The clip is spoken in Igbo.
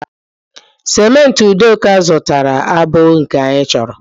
cimenti udoka zụtara abụghị nke anyị chọrọ